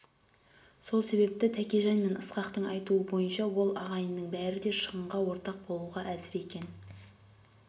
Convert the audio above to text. сол себепті тәкежан мен ысқақтың айтуы бойынша ол ағайынның бәрі де шығынға ортақ болуға әзір екен